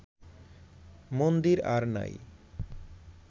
মন্দির আর নাই